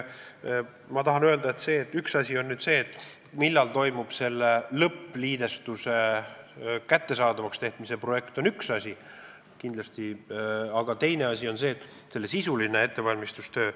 Ma tahan öelda, et üks asi on kindlasti see, millal toimub selle lõppliidestuse kättesaadavaks tegemine, aga teine asi on sisuline ettevalmistustöö.